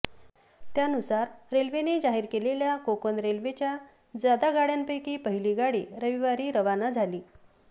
त्यानुसार रेल्वेने जाहीर केलेल्या कोकण रेल्वेच्या जादा गाडयांपैकी पहिली गाडी रविवारी रवाना झाली